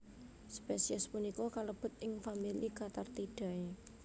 Spesies punika kalebet ing famili Cathartidae